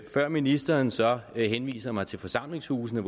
før ministeren så henviser mig til forsamlingshusene